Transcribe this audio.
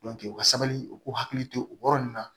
u ka sabali u k'u hakili to o yɔrɔ ninnu na